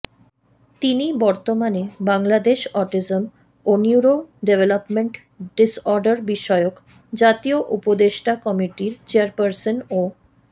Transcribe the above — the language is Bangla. তিনি বর্তমানে বাংলাদেশ অটিজম ও নিউরো ডেভেলপমেন্ট ডিসঅর্ডার বিষয়ক জাতীয় উপদেষ্টা কমিটির চেয়ারপার্সন ও